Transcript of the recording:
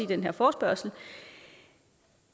den her forespørgsel